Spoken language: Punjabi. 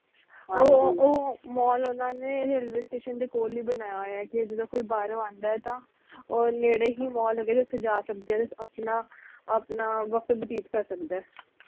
ਉਹ mall ਓਹਨਾ ਨੇ railway station ਦੇ ਕੋਲ ਲਈ ਬਣਾਇਆ ਹੋਇਆ ਕਿ ਜਦੋ ਕੋਈ ਬਾਹਰੋਂ ਆਂਦਾ ਤਾ ਉਹ ਨੇੜੇ ਹੀ mall ਹੇਗਾ ਓਥੇ ਜਾ ਸਕਦੇ ਆਪਣਾ ਆਪਣਾ ਵਕਤ ਬਤੀਤ ਕਰ ਸਕਦਾ